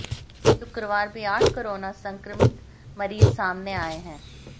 शुक्रवार भी आठ कोरोना संक्रमित मरीज सामने आए है